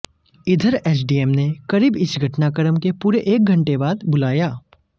इधर एसडीएम ने करीब इस घटनाक्रम के पूरे एक घंटे बाद बुलाया